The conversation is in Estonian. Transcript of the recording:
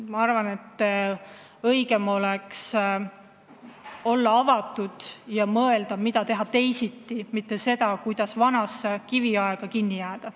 Ma arvan, et õigem oleks olla avatud ja mõelda, mida võiks teha teisiti, mitte seda, kuidas edasi kiviajas kinni olla.